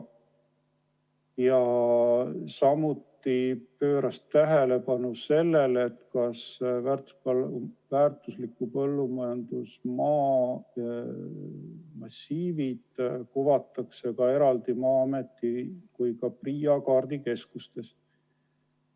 Ta küsis, kas väärtusliku põllumajandusmaa massiivid kuvatakse ka eraldi Maa-ameti või PRIA kaardikeskustes.